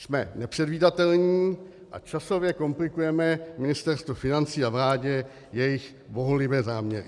Jsme nepředvídatelní a časově komplikujeme Ministerstvu financí a vládě jejich bohulibé záměry.